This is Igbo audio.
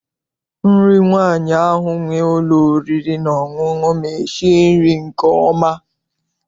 Nri nwaanyị ahụ nwere ụlọ oriri na ọṅụṅụ ma esi nri nke ọma.